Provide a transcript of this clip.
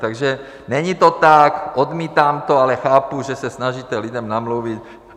Takže není to tak, odmítám to, ale chápu, že se snažíte lidem namluvit...